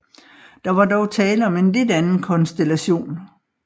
Der var dog tale om en lidt anden konstellation